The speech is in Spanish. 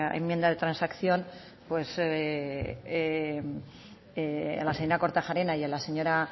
enmienda de transacción a la señora kortajarena y a la señora